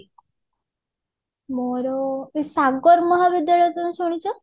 ମୋର ଏ ସାଗର ମହାବିଦ୍ୟାଳୟ ତମେ ଶୁଣିଛ